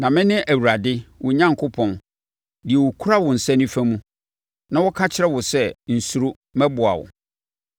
Na mene Awurade, wo Onyankopɔn, deɛ ɔkura wo nsa nifa mu na ɔka kyerɛ wo sɛ, nsuro; mɛboa wo.